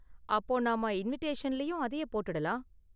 அப்போ நாம இன்விடேஷன்லயும் அதையே போட்டுடலாம்.